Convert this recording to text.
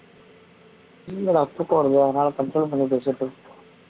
இல்லடா தூக்கம் வருது அதனால control பண்ணி பேசிட்டு இருக்கே